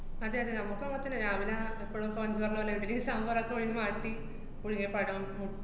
അതെയതെ. നമക്കും അങ്ങനെത്തന്നെ. രാവിലെ ആഹ് എപ്പഴും ഇപ്പ അഞ്ജു പറഞ്ഞപോലെ ഇഡ്ഡലീം സാമ്പാറുമൊക്കെ ഒഴിഞ്ഞ് മാറ്റി പുഴുങ്ങിയ പഴം, മു~